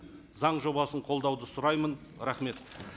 заң жобасын қолдауды сұраймын рахмет